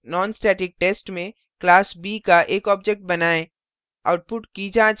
बनाए गए class nonstatictest में class b का एक object बनाएँ